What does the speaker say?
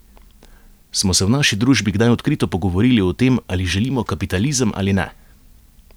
Smo se v naši družbi kdaj odkrito pogovorili o tem, ali želimo kapitalizem ali ne?